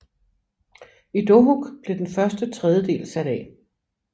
I Dohuk blev den første tredje del sat af